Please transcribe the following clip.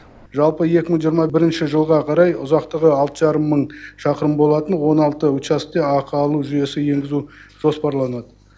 жалпы екі мың жиырма бірінші жылға қарай ұзақтығы алты жарым мың шақырым болатын он алты учаскеге ақы алу жүйесін енгізу жоспарланады